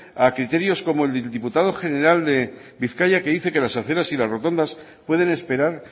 a criterios como el del diputado general de bizkaia que dice que las aceras y las rotondas pueden esperar